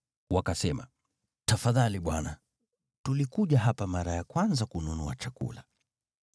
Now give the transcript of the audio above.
Wakasema, “Tafadhali bwana, tulikuja hapa mara ya kwanza kununua chakula.